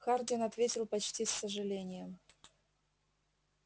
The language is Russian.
хардин ответил почти с сожалением